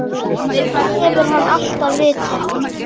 Það hefur hann alltaf vitað.